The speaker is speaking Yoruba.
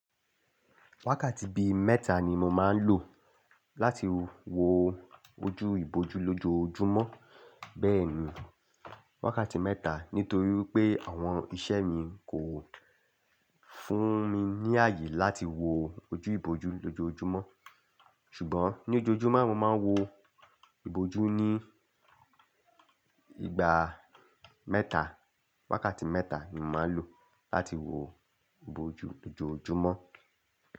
Wákàtí bí mẹ́ta ni mo máa ń lò láti wo ojú ìbòjú lójoojúmọ́. Bẹ́ẹ̀ni, wákàtí mẹ́ta nítorí pé àwọn iṣẹ́ mi kò fún mi ní ààyè láti wo ojú ìbòjú lójoojúmọ́. Ṣùgbọ́n ní ojoojúmọ́ mo máa ń wo ìbòjú ní ìgbà mẹ́ta. Wákàtí mẹ́ta ni mo máa ń lò láti wo ìbòjú lójoojúmọ́